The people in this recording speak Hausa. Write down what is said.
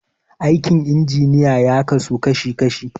Aikin injiniya ya kasu kashi kashi.